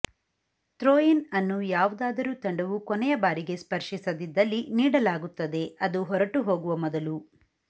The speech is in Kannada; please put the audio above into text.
ಥ್ರೋ ಇನ್ ಅನ್ನು ಯಾವುದಾದರೂ ತಂಡವು ಕೊನೆಯ ಬಾರಿಗೆ ಸ್ಪರ್ಶಿಸದಿದ್ದಲ್ಲಿ ನೀಡಲಾಗುತ್ತದೆ ಅದು ಹೊರಟುಹೋಗುವ ಮೊದಲು